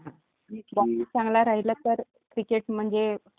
जर बॉलिंग चांगली असेल तर नाही का चांगल्यामध्ये आपण जिंकूपण शकतो.